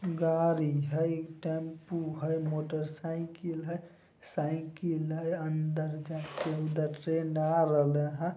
गाड़ी हई टेम्पू हई मोटर साइकिल हई साइकिल हई अंदर जाके उधर ट्रेन आ रहले हेय।